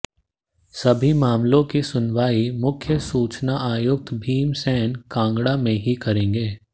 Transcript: सभी मामलों की सुनवाई मुख्य सूचना आयुक्त भीम सैन कांगड़ा में ही करेंगे